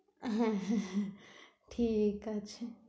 হম হম হম ঠিক আছে।